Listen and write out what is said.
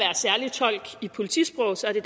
synes